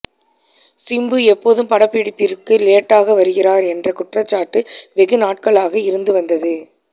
சிம்பு எப்போதும் படப்பிடிப்பிற்கு லேட்டாக வருகிறார் என்ற குற்றச்சாட்டு வெகுநாட்களாக இருந்து வந்தது